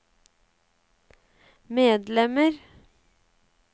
medlemmer